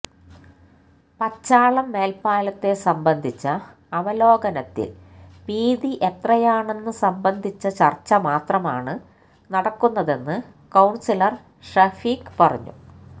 പച്ചാളം മേല്പ്പാലത്തെ സംബന്ധിച്ച അവലോകനത്തില് വീതി എത്രയാണെന്ന് സംബന്ധിച്ച ചര്ച്ച മാത്രമാണ് നടക്കുന്നതെന്ന് കൌണ്സിലര് ഷഫീഖ് പറഞ്ഞു